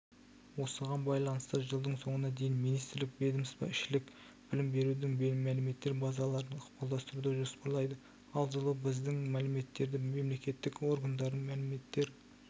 осыған байланысты жылдың соңына дейін министрлік ведомствоішілік білім берудің мәліметтер базаларын ықпалдастыруды жоспарлайды ал жылы біздің мәліметтерді мемлекеттік органдардың мәліметтер